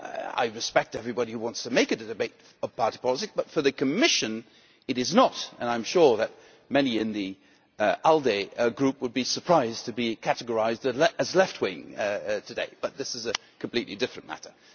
I respect everybody who wants to make it a debate about party politics but for the Commission it is not, and I am sure that many in the ALDE Group would be surprised to be categorised as left wing today, but this is a completely different matter.